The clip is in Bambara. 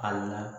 Ali n'a